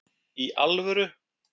Í ALVÖRU??